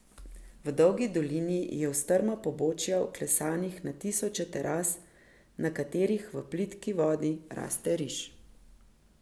V dolgi dolini je v strma pobočja vklesanih na tisoče teras, na katerih v plitki vodi raste riž.